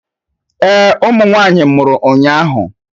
Ee ụmụ nwanyị mụrụ ụnyahụ